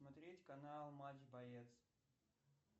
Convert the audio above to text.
смотреть канал матч боец